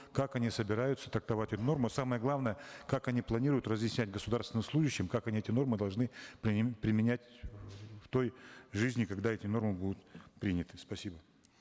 как они собираются трактовать эти нормы самое главное как они планируют разъяснять государственным служащим как они эти нормы должны применять в той жизни когда эти нормы будут приняты спасибо